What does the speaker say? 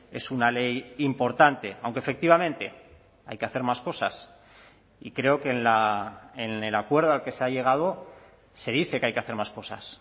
es una ley importante aunque efectivamente hay que hacer más cosas y creo que en el acuerdo al que se ha llegado se dice que hay que hacer más cosas